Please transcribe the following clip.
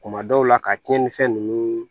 Kuma dɔw la ka tiɲɛnifɛn ninnu